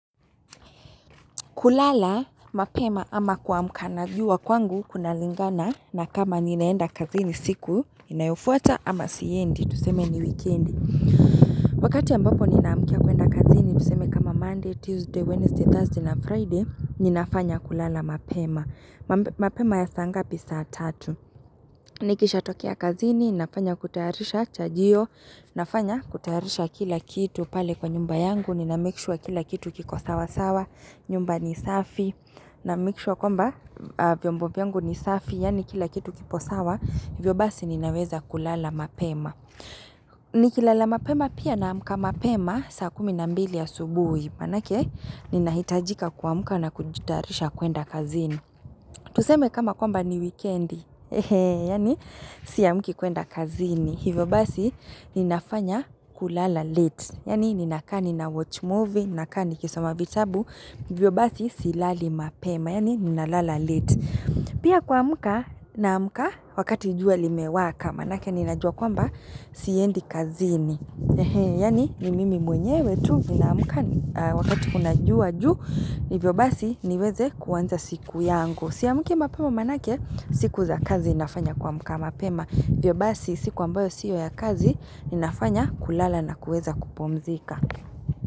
Kulala, mapema ama kuamka na jua kwangu kunalingana na kama ninaenda kazini siku inayofuata ama siendi, tuseme ni weekendi. Wakati ambapo ninaamkia kwenda kazini tuseme kama Monday, Tuesday, Wednesday, Thursday na Friday, ninafanya kulala mapema. Mapema ya saa ngapi,? Saa tatu. Nikisha tokea kazini, ninafanya kutaharisha chajio, ninafanya kutaharisha kila kitu pale kwa nyumba yangu, ninamake sure kila kitu kiko sawa sawa, nyumba ni safi. Namake sure kwamba vyombo vyangu ni safi, yani kila kitu kipo sawa, hivyo basi ninaweza kulala mapema. Nikilala mapema pia naamka mapema, saa kumi na mbili ya asubuhi, manake, ninahitajika kuamkavna kujitayarisha kwenda kazini. Tuseme kama kwamba ni weekendi, yani, siamki kwenda kazini. Hivyo basi ninafanya kulala late yani ninakaa nina watch movie ninakaa nikisoma vitabu hivyo basi silali mapema yani ninalala late pia kwa muka naamka wakati jua limewaka manake ninajua kwamba siendi kazini yani ni mimi mwenyewe tu ninaamka wakati kunajua ju hivyo basi niweze kuwanza siku yangu siamki mapema manake siku za kazi nafanya kuamka mapema Vyobasi siku ambayo siyya kazi inafanya kulala na kuweza kupomzika.